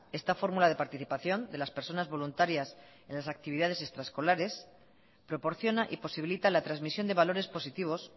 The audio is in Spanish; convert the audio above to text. esta fórmula de participación de las personas voluntarias en las actividades extraescolares proporciona y posibilita la transmisión de valores positivos